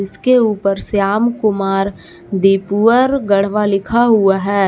उसके ऊपर श्याम कुमार दीपुअर गढ़वा लिखा हुआ है।